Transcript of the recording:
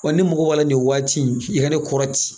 Wa ne mago b'a la nin waati in i ka ne kɔrɔ ti.